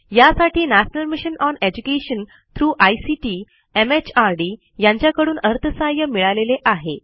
यासाठी national mission on education through ICT MHRD यांच्याकडून अर्थसहाय्य मिळालेले आहे